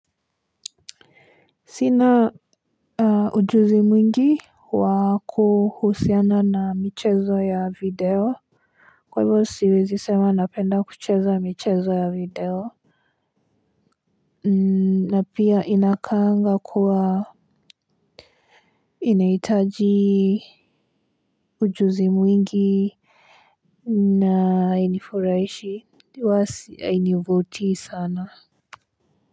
Sina ujuzi mwingi wa kuhusiana na michezo ya video. Kwa hivyo siwezi sema napenda kucheza michezo ya video na pia inakaanga kuwa inaitaji ujuzi mwingi na hainifuraishi huwa hainivutii sana.